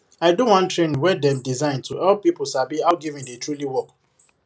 i do one training wey dem design to help people sabi how giving dey truly work